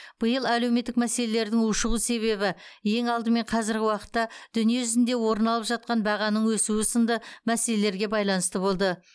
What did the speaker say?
биыл әлеуметтік мәселелердің ушығу себебі ең алдымен қазіргі уақытта дүние жүзінде орын алып жатқан бағаның өсуі сынды мәселелерге байланысты болды